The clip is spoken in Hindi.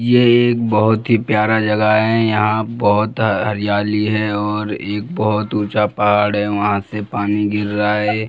ये एक बहुत ही प्यारा जगह है यहाँ बहुत हरियाली है और एक बहुत ऊंचा पहाड़ है वहाँ से पानी गिर रहा है। .